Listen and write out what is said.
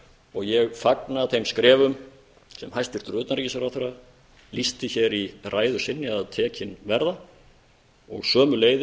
og ég fagna þeim skrefum sem hæstvirtur utanríkisráðherra lýsti hér í ræðu sinni að tekin verða og